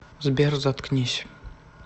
сбер заткнись